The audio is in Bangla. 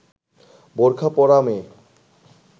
বোরকা পরা মেয়ে